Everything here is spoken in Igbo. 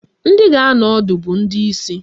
Ndị ga-anọ ọdụ bụ ndị isi